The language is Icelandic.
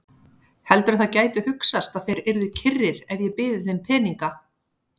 Heldurðu að það gæti hugsast að þeir yrðu kyrrir ef ég byði þeim peninga?